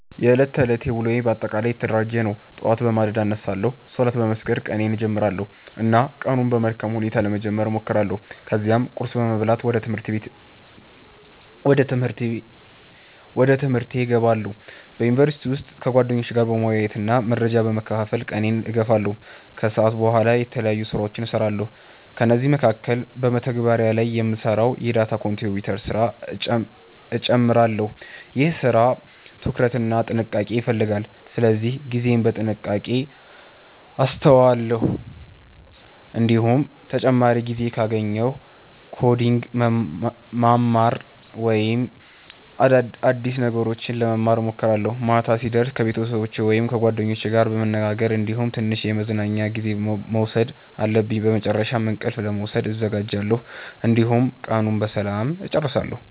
የዕለት ተዕለት ውሎዬ በአጠቃላይ የተደራጀ ነው። ጠዋት በማለዳ እነሳለሁ፣ ሶላት በመስገድ ቀኔን እጀምራለሁ እና ቀኑን በመልካም ሁኔታ ለመጀመር እሞክራለሁ። ከዚያም ቁርስ በመብላት ወደ ትምህርቴ እገባለሁ። በዩኒቨርሲቲ ውስጥ ከጓደኞቼ ጋር መወያየትና መረጃ በመካፈል ቀኔን እገፋለሁ። ከሰዓት በኋላ የተለያዩ ስራዎችን እሰራለሁ፤ ከእነዚህ መካከል በመተግበሪያ ላይ የምሰራውን የdata contributor ስራ እጨምራለሁ። ይህ ስራ ትኩረት እና ጥንቃቄ ይፈልጋል ስለዚህ ጊዜዬን በጥንቃቄ አሰተዋለሁ። እንዲሁም ተጨማሪ ጊዜ ካገኘሁ ኮዲንግ ማማር ወይም አዲስ ነገሮች ለመማር እሞክራለሁ። ማታ ሲደርስ ከቤተሰቦቸ ወይም ከጓደኞቼ ጋር መነጋገር እንዲሁም ትንሽ የመዝናኛ ጊዜ መውሰድ አለብኝ። በመጨረሻም እንቅልፍ ለመውሰድ እዘጋጃለሁ፣ እንዲሁም ቀኑን በሰላም እጨርሳለሁ።